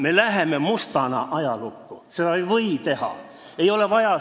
Me läheme mustana ajalukku, seda ei või teha!